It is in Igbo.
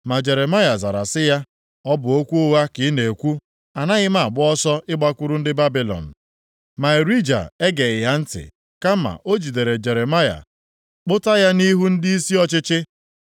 Ma Jeremaya zara sị ya, “Ọ bụ okwu ụgha ka ị na-ekwu. Anaghị m agba ọsọ ịgbakwuru ndị Babilọn.” Ma Irija egeghị ya ntị, kama o jidere Jeremaya kpụta ya nʼihu ndịisi ọchịchị.